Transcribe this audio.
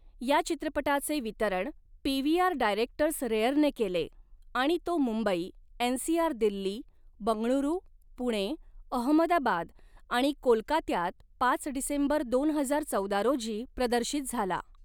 या चित्रपटाचे वितरण पीव्हीआर डायरेक्टर्स रेअरने केले आणि तो मुंबई, एनसीआर दिल्ली, बंगळुरू, पुणे, अहमदाबाद आणि कोलकात्यात पाच डिसेंबर दोन हजार चौदा रोजी प्रदर्शित झाला.